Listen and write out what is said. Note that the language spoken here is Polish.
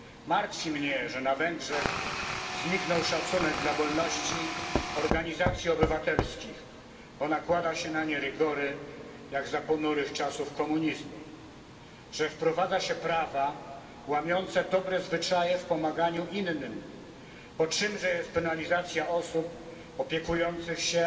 Martwi mnie, że na Węgrzech zniknął szacunek dla wolności organizacji obywatelskich, bo nakłada się na nie rygory, jak za ponurych czasów komunizmu, że wprowadza się prawa łamiące dobre zwyczaje w pomaganiu innym, bo czymże jest penalizacja osób opiekujących się